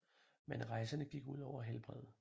Men rejserne gik ud over helbredet